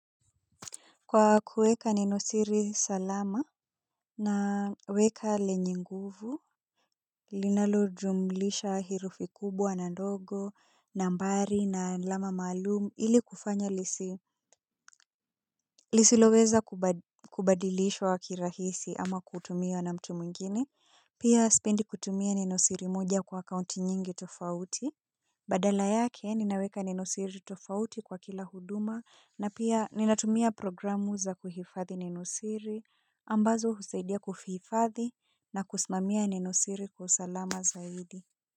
Kwa kueka nenosiri salama, naweka lenye nguvu, linalo jumlisha herufi kubwa na ndogo, nambari na alama malumu ili kufanya lisi, lisi loweza kubadilishwa wakirahisi ama kutumia na mtu mungine, pia spendi kutumia nenosiri moja kwa akaunti nyingi tofauti. Badala yake ninaweka nenosiri tofauti kwa kila huduma na pia ninatumia programu za kuhifathi nenosiri. Ambazo huseidia kufiifadhi na kusimamia nenosiri kwa usalama zaidi.